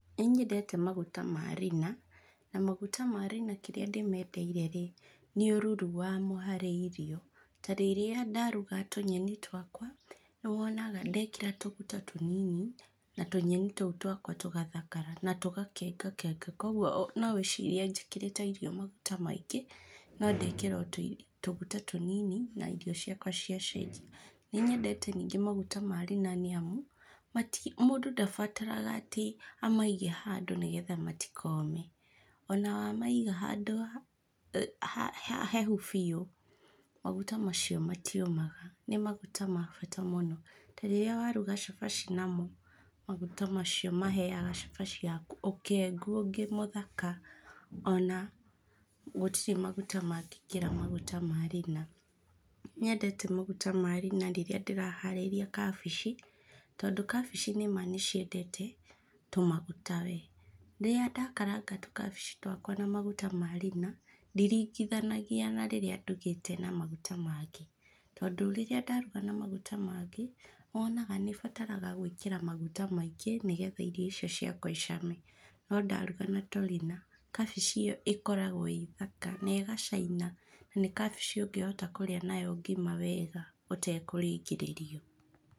Nĩ nyendete maguta ma Rina, na maguta ma Rina kĩrĩa ndĩmendeire-rĩ, nĩ ũruru wamo harĩ irio. Ta rĩrĩa ndaruga tũnyeni twakwa, nĩwonaga ndekĩra tũguta tũnini na tũnyeni tũu twakwa tũgathakara na tũgakengakenga. Koguo no wĩcirie njĩkĩrĩte irio maguta maingĩ, no ndekira o tũguta tũnini na irio ciakwa ciacenji. Ninyendete ningĩ maguta ma Rina nĩamu, mũndũ ndabataraga atĩ amaige handũ nĩgetha matikome. Ona wamaiga handũ hahehu biũ, maguta macio matiũmaga. Nĩ maguta ma bata mũno. Rirĩa waruga shabashi namo, maguta macio maheaga shabashi yaku ũkengu ũngĩ mũthaka ona gũtirĩ maguta mangĩkĩra maguta ma Rina. Ninyendeta maguta ma Rina rĩrĩa ndĩraharĩria kabici, tondũ kabici nĩma nĩciendete tũmaguta wee. Rĩrĩa ndakaranga tũkabici twakwa na maguta ma Rina, ndiringithanagia rĩrĩa ndugĩte na maguta mangĩ. Tondũ rĩrĩa ndaruga na maguta mangĩ, nĩ wonaga nĩbataraga gwĩkĩra maguta maingĩ nĩ getha irio icio ciakwa icame. No ndaruga na Torina, kabici ĩyo ĩkoragwo ĩ thaka na ĩgacaina. Ni kabici ũngĩhota kũrĩa nayo ngima wega ũtekũringĩrĩrio.